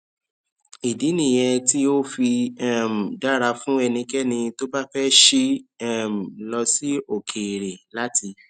ìdí nìyẹn tí ó fi um dára fún ẹnikẹni tó bá fé ṣí um lọ sí òkèèrè láti